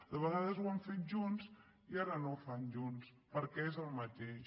de vegades ho han fet junts i ara no ho fan junts perquè és el mateix